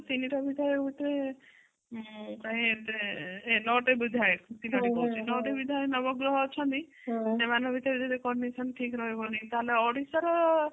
କିନ୍ତୁ ତିନିଟା ବିଧାୟକ ଭିତରେ ନଅ ଟି ବିଧାୟକ ତିନୋଟି କହୁଛି ନଅ ଟି ବିଧାୟକ ନବ ଗ୍ରହ ଅଛନ୍ତି ସେମାନଙ୍କର ଭିତରେ ଯଦି connection ଠିକ ରହିବନି ତାହାଲେ ଓଡିଶା ର